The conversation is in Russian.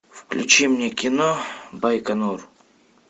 включи мне кино байконур